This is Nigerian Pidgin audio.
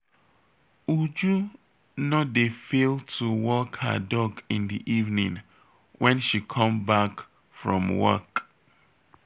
Uju no dey fail to walk her dog in the evening wen she come back from work